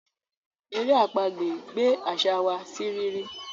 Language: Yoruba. èrè àpagbè gbé àṣà wá sí rírí.